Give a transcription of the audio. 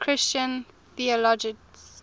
christian theologians